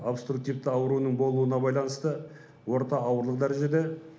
обструктивті ауруының болуына байланысты орта ауырлы дәрежеде